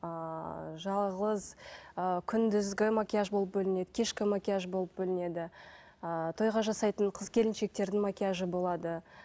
ыыы жалғыз ы күндізгі макияж болып бөлінеді кешкі макияж болып бөлінеді ыыы тойға жасайтын қыз келіншектердің макияжы болады